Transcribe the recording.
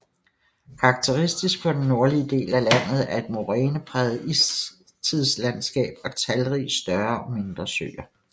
Karakteristisk for den nordlige del af landet er et morænepræget istidslandskab og talrige større og mindre søer